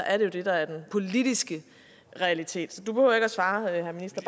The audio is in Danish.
er jo det der er den politiske realitet så du behøver ikke svare herre minister